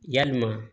Yalima